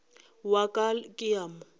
wa ka ke a mo